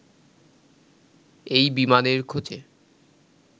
এই বিমানের খোঁজে